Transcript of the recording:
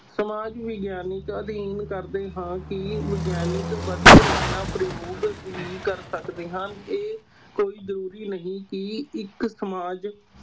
ਸਮਾਜ ਵਿਗਆਨਕ ਅਧਿਐਨ ਕਰਦੇ ਹਾਂ ਕਿ ਵਿਗਿਆਨਕ ਵਿਧੀ ਰਚਨਾ ਪ੍ਰਯੋਗ ਵੀ ਕਰ ਸਕਦੇ ਹਾਂ ਇਹ ਕੋਈ ਜ਼ਰੂਰੀ ਨਹੀਂ ਕਿ ਇੱਕ ਸਮਾਜ